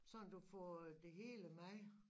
Sådan du får øh det hele med